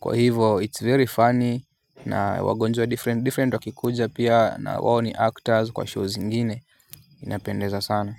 Kwa hivo it's very funny na wagonjwa different wakikuja pia na wao ni actors kwa show zingine inapendeza sana.